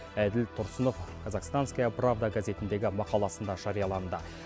әділ тұрсынов казахстанская правда газетіндегі мақаласында жарияланды